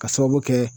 Ka sababu kɛ